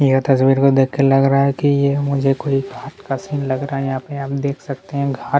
यह तसवीर को देख के लग रहा है की यह मुझे कोई घाट का सीन लग रहा है यहाँ पे हम देख सकते है घाट--